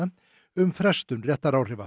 um frestun réttaráhrifa